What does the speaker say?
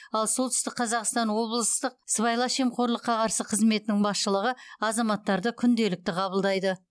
ал солтүстік қазақстан облыстық сыбайлас жемқорлыққа қарсы қызметінің басшылығы азаматтарды күнделікті қабылдайды